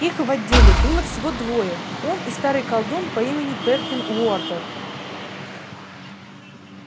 их в отделе было всего двое он и старый колдун по имени перкин уорбек